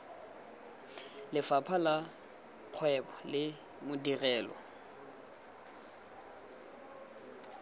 lefapha la kgwebo le madirelo